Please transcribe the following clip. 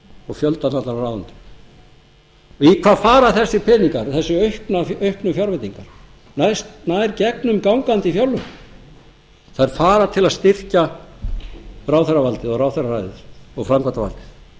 og fjöldann allan af ráðuneytum í hvað fara þessir peningar þessar auknu fjárveitingar nær gegnumgangandi fjárlögin þær fara til að styrkja ráðherravaldið og ráðherraræðið og